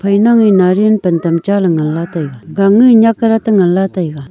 phai nange nariyal pan tam cha le nganla taiga gange nyakdat ngan la taiga.